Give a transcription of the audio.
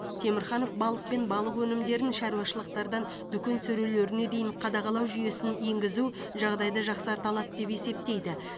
темірханов балық пен балық өнімдерін шаруашылықтардан дүкен сөрелеріне дейін қадағалау жүйесін енгізу жағдайды жақсарта алады деп есептейді